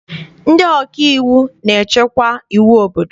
Ndị ọkaiwu na-echekwa iwu obodo.